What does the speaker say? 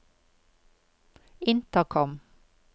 intercom